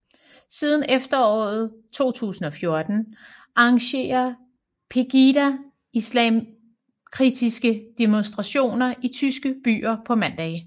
Siden efteråret 2014 arrangerer Pegida islamkritiske demonstrationer i tyske byer på mandage